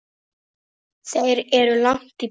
Þeir eru langt í burtu.